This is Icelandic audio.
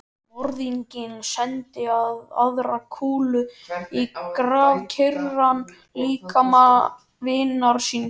Morðinginn sendi aðra kúlu í grafkyrran líkama vinar síns.